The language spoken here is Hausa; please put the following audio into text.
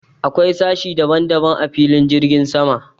Akwai sashe daban daban a filin jirgin sama.